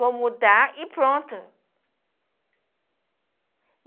Vou mudar e pronto.